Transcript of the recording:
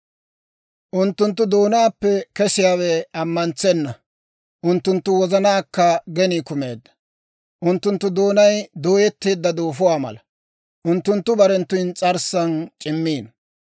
Unttunttu doonaappe kesiyaawe ammantsenna. Unttunttu wozanaankka genii kumeedda; unttunttu doonay dooyetteedda duufuwaa mala; Unttunttu barenttu ins's'arssan c'immiino.